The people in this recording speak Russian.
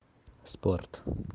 спорт